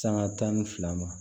Sanga tan ni fila ma